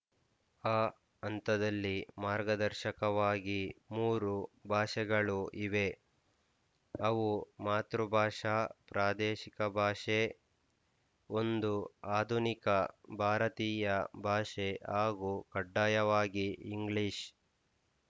ಆ ಹಂತದಲ್ಲಿ ಮಾರ್ಗದರ್ಶಕವಾಗಿ ಮೂರು ಭಾಷೆಗಳು ಇವೆ ಅವು ಮಾತೃಭಾಷಾಪ್ರಾದೇಶಿಕ ಭಾಷೆ ಒಂದು ಆಧುನಿಕ ಭಾರತೀಯ ಭಾಷೆ ಹಾಗೂ ಕಡ್ಡಾಯವಾಗಿ ಇಂಗ್ಲೀಷ್